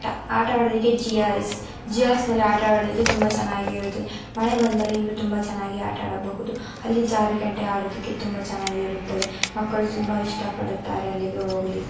ಆಟವಾಡುವುದಕ್ಕೆ GRS GRS ನಲ್ಲಿ ಆಟವಾಡುವುದಕ್ಕೆ ತುಂಬ ಚೆನ್ನಾಗಿ ಇರುತ್ತದೆ ಮಳೆ ಬಂದರೆ ಇನ್ನೂ ತುಂಬಾ ಚೆನ್ನಾಗಿ ಆಟಾಡಬಹುದು ಅಲ್ಲಿ ಜಾರ್ಗಂಟೆ ಆಡೋದಕ್ಕೆ ತುಂಬ ಚೆನ್ನಾಗಿರುತ್ತದೆ ಮಕ್ಕಳು ತುಂಬ ಇಷ್ಟ ಪಡುತ್ತಾರೆ. ಅಲ್ಲಿಗೆ ಹೋಗ್ಲಿಕ್ಕೆ --